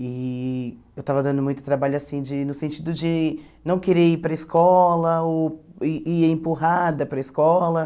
E eu estava dando muito trabalho assim de no sentido de não querer ir para a escola, ou ir ia empurrada para a escola.